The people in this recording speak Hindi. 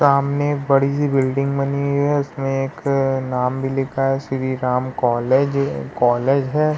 सामने एक बड़ी सी बिल्डिंग बनी हुई है उसमे एक नाम भी लिखा है श्री राम कॉलेज कॉलेज है।